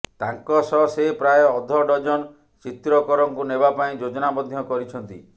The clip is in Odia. ତାଙ୍କ ସହ ସେ ପ୍ରାୟ ଅଧ ଡଜନ ଚିତ୍ରକରଙ୍କୁ ନେବା ପାଇଁ ଯୋଜନା ମଧ୍ୟ କରିଛନ୍ତି